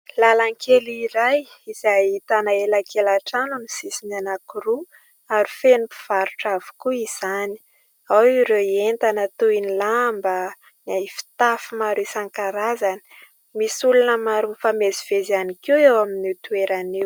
Lalan-kely iray izay ahitana elakelan-trano amin'ny sisiny anankiroa ary feno mpivarotra avokoa izany. Ao ireo entana toy ny lamba na fitafy maro isan-karazany. Misy olona maro mifamezivezy ihany koa eo amin'io toerana io.